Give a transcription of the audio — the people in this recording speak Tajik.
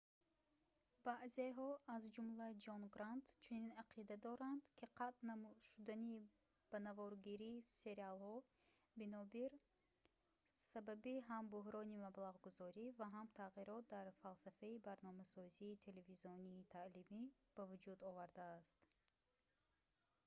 баъзеҳо аз ҷумла ҷон грант чунин ақида доранд ки қатъ шудани ба наворгирии сериолҳоро бинобир сабаби ҳам бӯҳрони маблағгузорӣ ва ҳам тағйирот дар фалсафаи барномасозии телевизионии таълимӣ ба вуҷуд овардааст